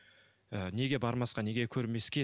ы неге бармасқа неге көрмеске